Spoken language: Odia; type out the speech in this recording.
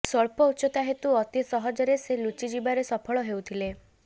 ସ୍ୱଳ୍ପ ଉଚ୍ଚତା ହେତୁ ଅତି ସହଜରେ ସେ ଲୁଚି ଯିବାରେ ସଫଳ ହେଉଥିଲା